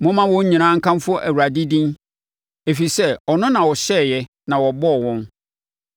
Momma wɔn nyinaa nkamfo Awurade din, ɛfiri sɛ ɔno na ɔhyɛeɛ na wɔbɔɔ wɔn.